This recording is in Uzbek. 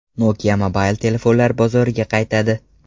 Nokia mobil telefonlar bozoriga qaytadi.